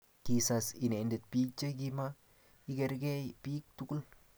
kisas inendet biik che kima ikerkei biik tugul